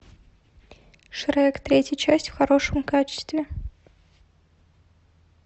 шрек третья часть в хорошем качестве